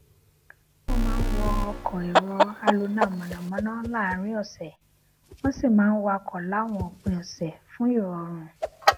wón máa ń wọ ọkọ èrò alonáamọnàmọná láàárín òsè wón sì máa ń wakò láwọn òpin òsè fun irorun